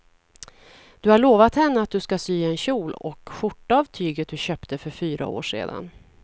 Du har lovat henne att du ska sy en kjol och skjorta av tyget du köpte för fyra år sedan.